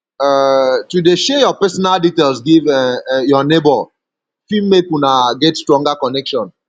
um to de share your personal details give um your neighbor fit make una get stronger connection